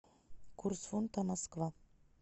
курс фунта москва